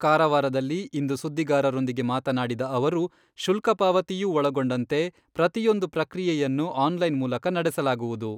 ಕಾರವಾರದಲ್ಲಿ ಇಂದು ಸುದ್ದಿಗಾರರೊಂದಿಗೆ ಮಾತನಾಡಿದ ಅವರು, ಶುಲ್ಕ ಪಾವತಿಯೂ ಒಳಗೊಂಡಂತೆ ಪ್ರತಿಯೊಂದು ಪ್ರಕ್ರಿಯೆಯನ್ನು ಆನ್ಲೈನ್ ಮೂಲಕ ನಡೆಸಲಾಗುವುದು.